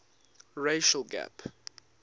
racial gap